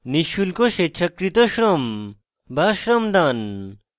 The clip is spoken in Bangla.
নিঃশুল্ক স্বেচ্ছাকৃত শ্রম বা shramdaan